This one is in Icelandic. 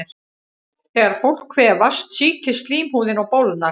Þegar fólk kvefast sýkist slímhúðin og bólgnar.